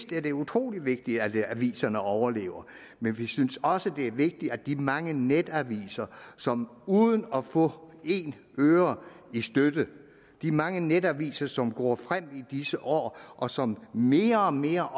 det er utrolig vigtigt at aviserne overlever men vi synes også det er vigtigt at de mange netaviser som uden at få en øre i støtte de mange netaviser som går frem i disse år og som mere og mere